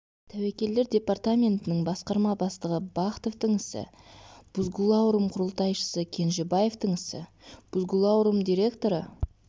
тәуекелдер департаментінің басқарма бастығы бахтовтың ісі бузгулаурум құрылтайшысы кенжебаевтың ісі бузгулаурум директоры